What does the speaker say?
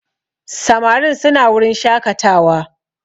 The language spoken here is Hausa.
Samarin suna wurin shakatawa